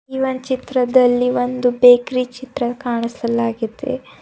ಈ ಒನ್ ಚಿತ್ರದಲ್ಲಿ ಒಂದು ಬೇಕ್ರಿ ಚಿತ್ರ ಕಾಣಿಸಲಗಿದೆ.